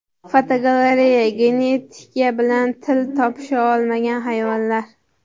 Fotogalereya: Genetika bilan til topisha olmagan hayvonlar.